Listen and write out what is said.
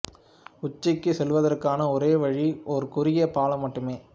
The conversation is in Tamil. உச்சிக்குச் செல்வதற்கான ஒரே வழி ஒரு குறுகிய பாலம் மட்டுமே